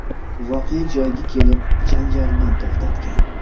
voqea joyiga kelib, janjalni to‘xtatgan.